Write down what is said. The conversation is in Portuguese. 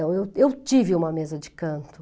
Então, eu eu tive uma mesa de canto.